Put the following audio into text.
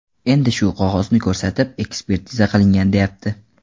Endi shu qog‘ozni ko‘rsatib, ekspertiza qilingan deyapti.